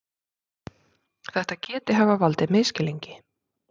Þetta geti hafa valdið misskilningi